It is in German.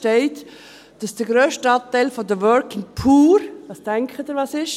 Es steht, dass der grösste Anteil der Working Poor ... Was denken Sie, was es ist?